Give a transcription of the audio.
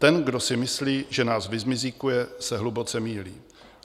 Ten, kdo si myslí, že nás vyzmizíkuje, se hluboce mýlí.